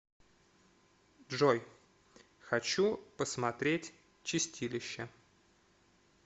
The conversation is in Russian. джой хочу посмотреть чистилище